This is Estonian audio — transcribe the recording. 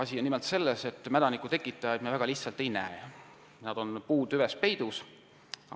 Asi on nimelt selles, et mädanikutekitajaid me väga kergesti ei näe, nad on puutüves peidus.